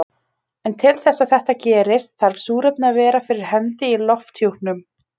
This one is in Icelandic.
En til þess að þetta gerist þarf súrefni að vera fyrir hendi í lofthjúpnum.